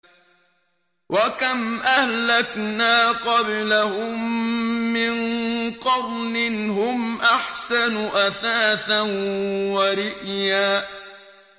وَكَمْ أَهْلَكْنَا قَبْلَهُم مِّن قَرْنٍ هُمْ أَحْسَنُ أَثَاثًا وَرِئْيًا